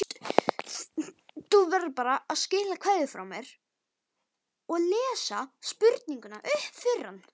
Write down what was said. Skilaðu kveðju frá mér og lestu spurninguna upp fyrir hann.